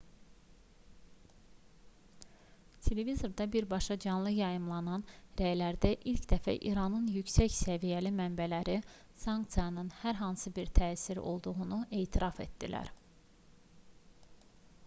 televizorda birbaşa canlı yayımlanan rəylərdə ilk dəfə i̇ranın yüksək səviyyəli mənbələri sanksiyasnın hər hansı bir təsirinin olduğunu etiraf etdilər